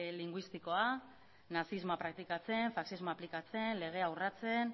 linguistikoa nazismoa praktikatzen faxismoa aplikatzen legea urratzen